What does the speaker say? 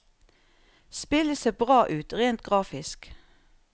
Spillet ser bra ut rent grafisk.